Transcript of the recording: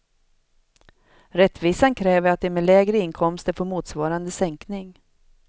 Rättvisan kräver att de med lägre inkomster får motsvarande sänkning.